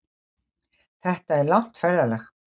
Þetta er langt ferðalag!